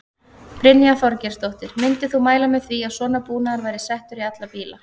Brynja Þorgeirsdóttir: Myndir þú mæla með því að svona búnaður væri settur í alla bíla?